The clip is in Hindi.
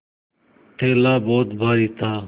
थैला बहुत भारी था